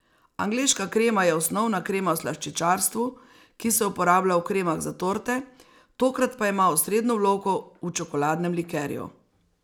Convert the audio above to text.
Angleška krema je osnovna krema v slaščičarstvu, ki se uporablja v kremah za torte, tokrat pa ima osrednjo vlogo v čokoladnem likerju.